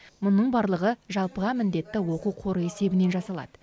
мұның барлығы жалпыға міндетті оқу қоры есебінен жасалады